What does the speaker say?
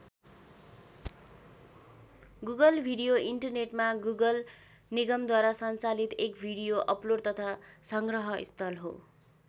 Google video इन्टरनेटमा Google निगमद्वारा सञ्चालित एक भिडियो अपलोड तथा संग्रह स्थल हो।